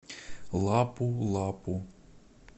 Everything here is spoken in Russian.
лапу лапу